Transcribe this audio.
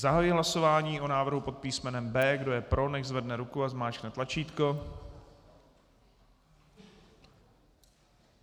Zahajuji hlasování o návrhu pod písmenem B. Kdo je pro, nechť zvedne ruku a zmáčkne tlačítko.